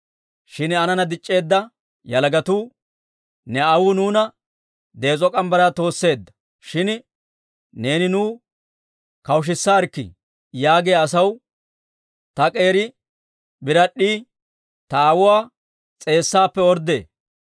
Shin aanana dic'c'eedda yalagatuu, « ‹Ne aawuu nuuna dees'o morgge mitsaa toosseedda; shin neeni nuw kawushisaarkkii› yaagiyaa asaw, ‹Ta k'eeri birad'd'ii ta aawuwaa s'eessaappe orddee.